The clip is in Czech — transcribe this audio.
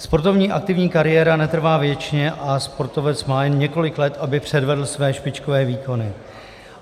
Sportovní aktivní kariéra netrvá věčně a sportovec má jen několik let, aby předvedl své špičkové výkony.